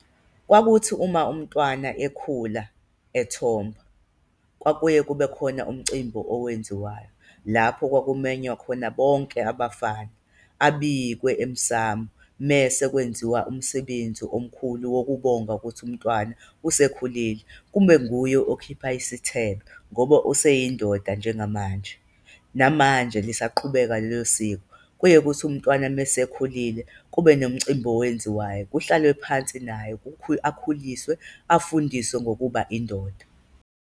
Kwakuthi uma umntwana ekhula ethomba, kwakuye kube khona umcimbi owenziwayo lapho kwakumenywa khona bonke abafana, abhikwe emsamu mese kwenziwa umsebenzi omkhulu wokubonga ukuthi umntwana usekhulile, kumbe nguye okhipha isithelo ngoba useyindoda njengamanje. Namanje lisaqhubeka lelo siko, kuye kuthi umntwana me sekhulile kube nomcimbi owenziwayo kuhlalwe phansi nayo, akhuliswe, afundiswe ngokuba indoda.